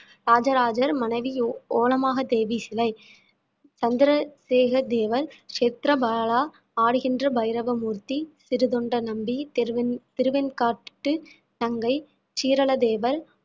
இராஜராஜர் மனைவி ஓ~ ஒலோகமாதேவி சிலை, சந்திரசேகர் தேவர், ஷேத்ரபாலர், ஆடுகின்ற பைரவ மூர்த்தி, சிறுத்தொண்ட நம்பி, திருவெண்~ திருவெண்காட்டு நங்கை, சீராளதேவர்